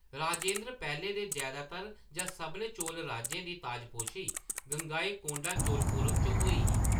राजेन्द्र पैह्‌ले दे जैदातर जां सभनें चोल राजें दी ताजपोशी गंगईकोंडा चोलपुरम च होई ही।